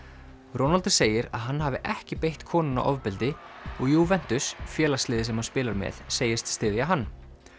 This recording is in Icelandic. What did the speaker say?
Ronaldo segir að hann hafi ekki beitt konuna ofbeldi og Juventus félagsliðið sem hann spilar með segist styðja hann